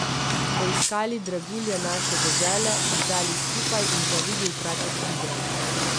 Poiskali dragulje naše dežele, jih dali skupaj in zavili v kratek video.